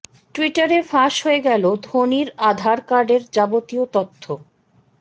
টুইটারে ফাঁস হয়ে গেল ধোনির আধার কার্ডের যাবতীয় তথ্য